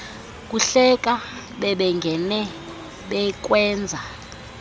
kuhleka bebengene bekwenza